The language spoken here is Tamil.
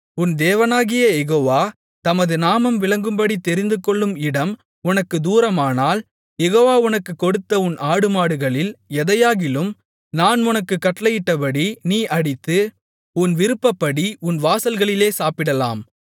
உன் தேவனாகிய யெகோவா தமது நாமம் விளங்கும்படித் தெரிந்துகொள்ளும் இடம் உனக்குத் தூரமானால் யெகோவா உனக்குக் கொடுத்த உன் ஆடுமாடுகளில் எதையாகிலும் நான் உனக்குக் கட்டளையிட்டபடி நீ அடித்து உன் விருப்பப்படி உன் வாசல்களிலே சாப்பிடலாம்